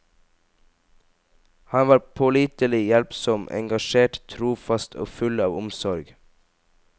Han var pålitelig, hjelpsom, engasjert, trofast og full av omsorg.